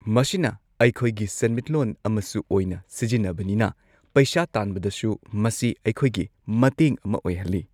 ꯃꯁꯤꯅ ꯑꯩꯈꯣꯏꯒꯤ ꯁꯦꯟꯃꯤꯠꯂꯣꯟ ꯑꯃꯁꯨ ꯑꯣꯏꯅ ꯁꯤꯖꯤꯟꯅꯕꯅꯤꯅ ꯄꯩꯁꯥ ꯇꯥꯟꯕꯗꯁꯨ ꯃꯁꯤ ꯑꯩꯈꯣꯏꯒꯤ ꯃꯇꯦꯡ ꯑꯃ ꯑꯣꯏꯍꯜꯂꯤ꯫